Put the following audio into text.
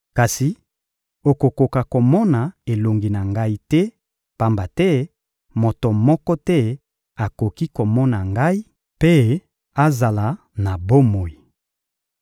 Kasi okokoka komona elongi na Ngai te, pamba te moto moko te akoki komona Ngai mpe azala na bomoi.